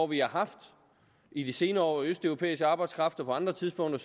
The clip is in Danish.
vi har haft i de senere år med østeuropæisk arbejdskraft og på andre tidspunkter